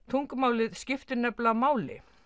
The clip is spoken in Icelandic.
tungumálið skiptir nefnilega máli